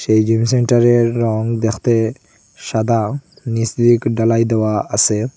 এই জিম সেন্টারের রং দ্যাখতে সাদা নীচ দিয়েক ঢালাই দেওয়া আসে।